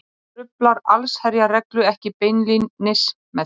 hann truflar allsherjarreglu ekki beinlínis með því